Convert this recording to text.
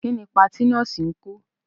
Kí ni ipa tí nọ́ọ̀sì ń kò?